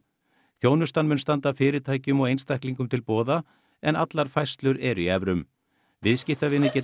þjónustan mun standa fyrirtækjum og einstaklingum til boða en allar færslur eru í evrum viðskiptavinir geta